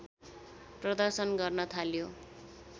प्रदर्शन गर्न थाल्यो